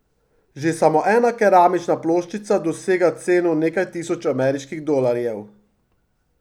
Že samo ena keramična ploščica dosega ceno nekaj tisoč ameriških dolarjev.